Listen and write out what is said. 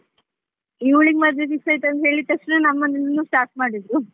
ಇವ್ಳಿಗೆ ಮದುವೆ fix ಆಯಿತು ಅಂತ ಹೇಳಿದ ತಕ್ಷಣ, ನಮ್ಮ ಮನೇಲೂನು start ಮಾಡಿದ್ರು.